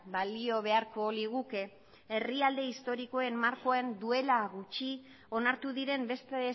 balio beharko liguke herrialde historikoen markoa duela gutxi onartu diren beste